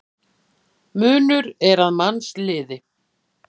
Munur er að mannsliði.